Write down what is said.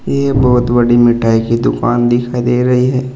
ये बहोत बड़ी मिठाई की दुकान दिखाई दे रही है।